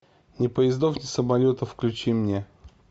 ни поездов ни самолетов включи мне